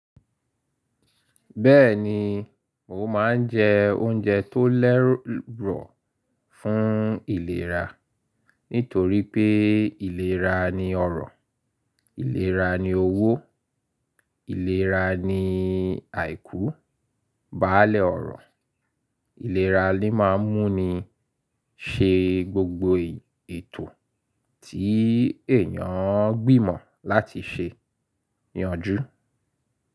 Bẹ́ẹ̀ni, mo máa ń jẹ oúnjẹ tó lẹ́rù fún ìlera. Nítorí pé ìlera ni ọrọ̀, ìlera ni owó, ìlera ni àìkú, baálẹ̀ ọrọ̀. Ìlera ni máa ń mú ni ṣe gbogbo ètò tí èyàn ń gbìmọ̀ láti ṣe, yànjú.